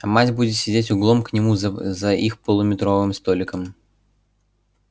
а мать будет сидеть углом к нему за их полуметровым столиком и реветь небось